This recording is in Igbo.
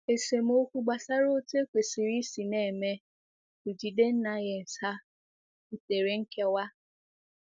Esemokwu gbasara otu ekwesịrị isi na-eme bJidennaefs ha butere nkewa.